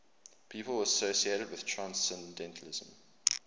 people associated with transcendentalism